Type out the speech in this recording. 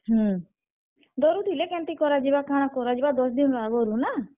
ହୁଁ, ଡରୁଥିଲେ କେନ୍ତି କରାଯିବା କାଣା କରାଯିବା ଦଶ ଦିନ୍ ଆଘରୁ ନା।